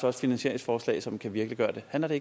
er finansieringsforslag som kan virkeliggøre det handler det